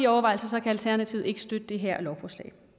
overvejelser kan alternativet ikke støtte det her lovforslag